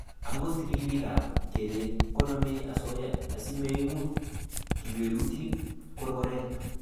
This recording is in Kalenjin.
Akot ribikap kalyet konamei osoya asimaimut kiplelutinik korkoret